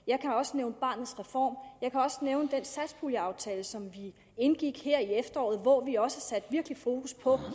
jeg kan også nævne barnets reform jeg kan også nævne den satspuljeaftale som vi indgik her i efteråret hvor vi også virkelig satte fokus på